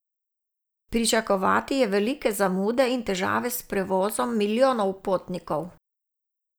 Pričakovati je velike zamude in težave s prevozom milijonov potnikov.